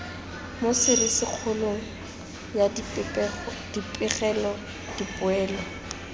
mo serisikgolong ya dipegelo dipoelo